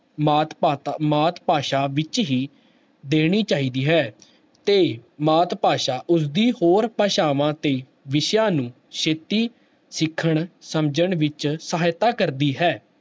ਮਾਤ ਭਾਤਾ ਮਾਤ ਭਾਸ਼ਾ ਵਿੱਚ ਹੀ ਦੇਣੀ ਚਾਹੀਦੀ ਹੈ ਤੇ ਮਾਤ ਭਾਸ਼ਾ ਉਸਦੀ ਹੋਰ ਭਾਸ਼ਾਵਾਂ ਤੇ ਵਿਸ਼ਿਆਂ ਨੂੰ ਛੇਤੀ ਸਿੱਖਣ, ਸਮਝਣ ਵਿੱਚ ਸਹਾਇਤਾ ਕਰਦੀ ਹੈ।